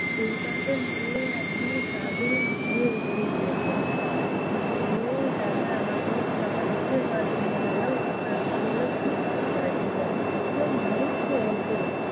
তিন চারজন মিলে একদম কাঁধে নিয়ে উঠিয়ে দিয়েছে। উঠিয়ে দিয়ে তারপর আমাকে যখন x-ray করাতে নিয়ে গেলো তখন আমাকে বললো, কীভাবে পড়েছিলো? কেউ মেরেছে ওকে?